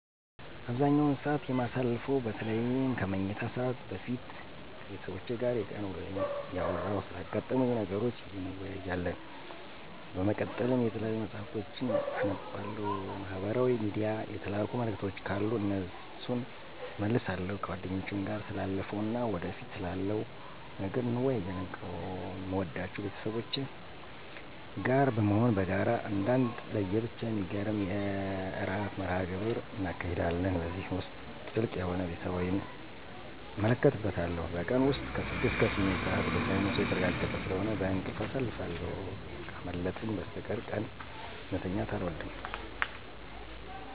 አብዛኛውን ሰዓት የማሳልፈው በተለይም ከመኝታ ሰዓት በፊት ከቤተሰቦቼ ጋር የቀን ውሎየን እያወራን ስላጋጠሙኝ ነገሮች እንወያያለን። በመቀጠልም የተለያዩ መፅሀፍቶችን አነባለሁ፤ ማህበራዊ ሚድያ የተላኩ መልዕክቶች ካሉ እነሱን እመልሳለሁ። ከጓደኞቼም ጋር ስላለፈው እና ወደፊት ስላለው ነገር እንወያያለን። ከምወዳቸው ቤተሰቦቼ ጋር በመሆን በጋራ አንዳንዴም ለየብቻ የሚገርም የዕራት መርሀ ግብር እናካሂዳለን። በዚህ ውስጥ ጥልቅ የሆነ ቤተሰባዊነትን እመለከትበታለሁ። በቀን ውስጥ ከ6 እስከ 8 ሰዓት በሳይንሱ የተረጋገጠ ስለሆነ በእንቅልፍ አሳልፋለሁ። ካላመመኝ በስተቀር ቀን መተኛት አልወድም።